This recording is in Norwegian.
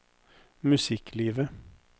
musikklivet